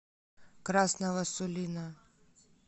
красного сулина